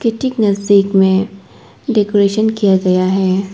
ठीक नजदीक में डेकोरेशन किया गया है।